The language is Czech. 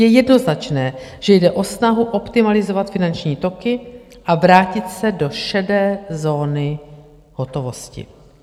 Je jednoznačné, že jde o snahu optimalizovat finanční toky a vrátit se do šedé zóny hotovosti."